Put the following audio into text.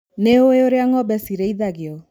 Nĩũĩ ũrĩa ngombe cirĩithagio.